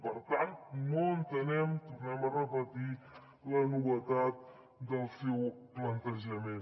per tant no entenem ho tornem a repetir la novetat del seu plantejament